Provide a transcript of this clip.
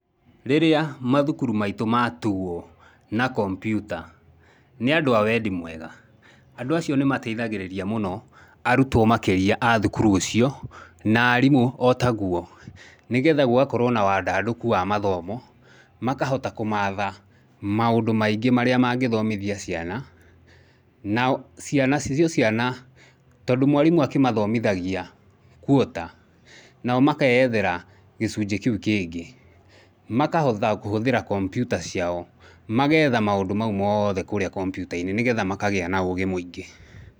Rĩrĩa mathukuru maitũ ma tuo na kompiuta nĩ andũ a wendi mwega, andũ acio nĩ mateithagĩrĩria mũno arutwo, makĩria a thukuru ũcio, na arimũ o taguo, nĩgetha gũgakorwo na wandandũku wa mathomo, makahota kumatha maũndũ maingĩ marĩa mangĩthomithia ciana. Nao nacio ciana tondũ mwarimũ akĩmathomithagia quarter, nao makeethera gĩcunjĩ kĩu kĩngĩ, makahota kũhũthĩra kompiuta ciao magetha maũndũ mau mothe kũrĩa kompiuta-inĩ, nĩgetha makagĩa na ũgĩ mũingĩ.